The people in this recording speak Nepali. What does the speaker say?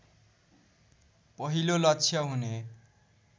पहिलो लक्ष्य हुने